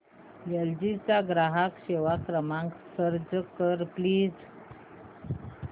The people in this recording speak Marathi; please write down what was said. एल जी चा ग्राहक सेवा क्रमांक सर्च कर प्लीज